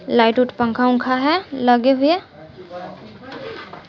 Light उट पंखा उंखा है लगे हुए।